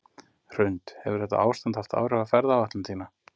Hrund: Hefur þetta ástand haft áhrif á ferðaáætlun þína?